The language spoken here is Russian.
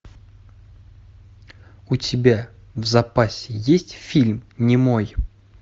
у тебя в запасе есть фильм немой